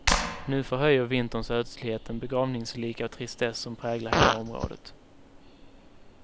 Nu förhöjer vinterns ödslighet den begravningslika tristess som präglar hela området.